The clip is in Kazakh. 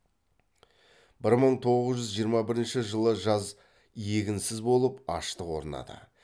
бір мың тоғыз жүз жиырма бірінші жылы жаз егінсіз болып аштық орнады